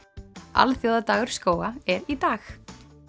alþjóðadagur skóga er í dag